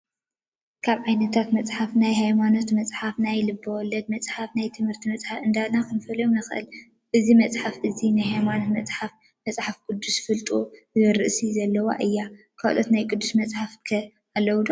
ካብ ዓይነታት መፅሓፍቲ ናይ ሃይማኖት መፅሓፍቲ ናይ ልቢ-ወለድ መፅሃፍቲ ናይ ትምህርቲ መፅሓፍቲ እንዳበልና ክንፈልዮን ንክእል። እዛ መፅሓፍ እዚኣ ናይ ሃይማኖት መፅሓፍ መፅሓፍ ቅዱስ ፍልጦ ዝብል ርእሲ ዘለዋ እያ። ካልኦት ናይ ቅዱስ መፅሓፍ ከ ኣለው ዶ ?